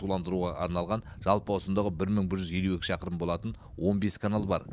суландыруға арналған жалпы ұзындығы бір мың бір жүз елу екі шақырым болатын он бес канал бар